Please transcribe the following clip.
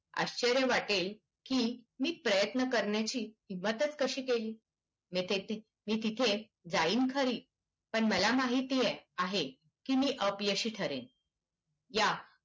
आश्चर्य वाटेल की मी प्रयत्न करण्याची मदत कशी केली मी तिथे जाईन खरी पण मला माहिती आहे की मी अपयशी ठरेन या